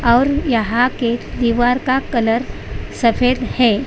और यहां के दीवार का कलर सफेद है।